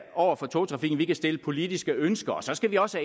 er over for togtrafikken vi kan stille politiske ønsker og så skal vi også